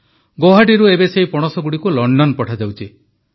ଗୌହାଟିରୁ ଏବେ ଏହି ପଣସଗୁଡ଼ିକୁ ଲଣ୍ଡନ ପଠାଯାଉଛି